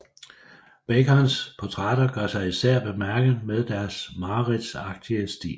Bacons portrætter gør sig især bemærket med deres mareridtsagtige stil